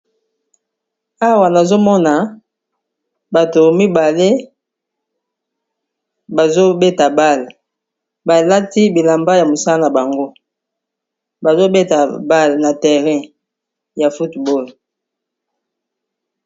awa nazomona bato mibale bazobeta bale balati bilamba ya mosala na bango bazobeta bale na terrain ya football